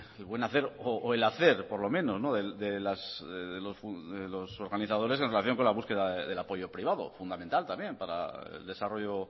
el buen hacer o el hacer por lo menos de los organizadores en relación con la búsqueda del apoyo privado fundamental también para el desarrollo